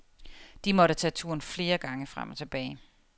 De måtte tage turen flere gange frem og tilbage.